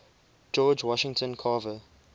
george washington carver